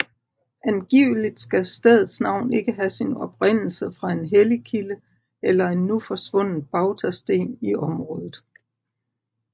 Angiveligt skal stedets navn have sin oprindelse fra en hellig kilde eller en nu forsvundet bautasten i området